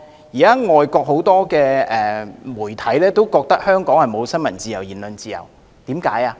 現在外國很多媒體都以為香港沒有新聞自由和言論自由，為何如此？